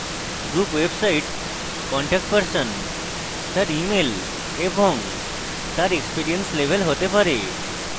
group website contact person তার email এবং তার experience level হতে পারে